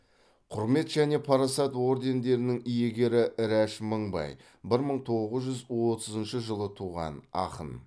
құрмет және парасат ордендерінің иегері рәш мыңбай бір мың тоғыз жүз отызыншы жылы туған ақын